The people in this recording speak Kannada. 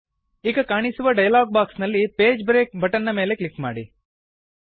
ಈಗ ಕಾಣಿಸುವ ಡಯಲಾಗ್ ಬಾಕ್ಸ್ ನಲ್ಲಿ ಪೇಜ್ ಬ್ರೇಕ್ ಬಟನ್ ನ ಮೇಲೆ ಕ್ಲಿಕ್ ಮಾಡಿ